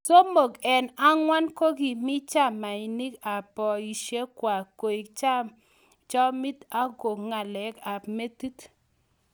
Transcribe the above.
Somok eeng ang'wan kokiimi chamanik ak poishek kwak koik chomit and ko ng'alek ap metit